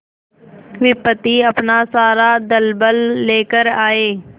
विपत्ति अपना सारा दलबल लेकर आए